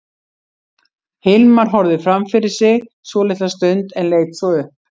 Hilmar horfði fram fyrir sig svolitla stund en leit svo upp.